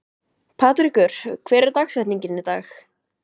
Patrekur, hver er dagsetningin í dag?